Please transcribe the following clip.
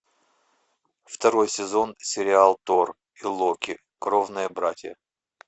второй сезон сериал тор и локи кровные братья